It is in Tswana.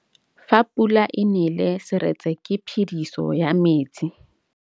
Fa pula e nelê serêtsê ke phêdisô ya metsi.